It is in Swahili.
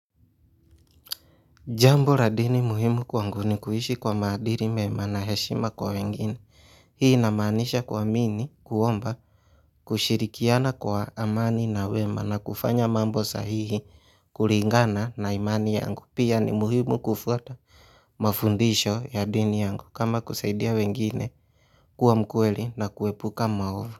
Jambo la dini muhimu kwangu ni kuishi kwa maadili mema na heshima kwa wengine, hii inamaanisha kuamini, kuomba, kushirikiana kwa amani na wema na kufanya mambo sahihi, kulingana na imani yangu pia ni muhimu kufuata mafundisho ya dini yangu kama kusaidia wengine kuwa mkweli na kuepuka maovu.